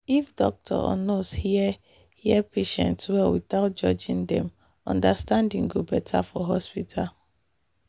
if doctor or nurse hear hear patient well without judging dem understanding go better for hospital.